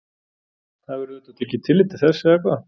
Það verður auðvitað tekið tillit til þess eða hvað?